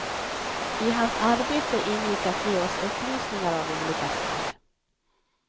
I hans arbete ingick att ge oss upplysningar av olika slag.